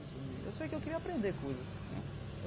Sobre eu sei que eu queria aprender coisas né.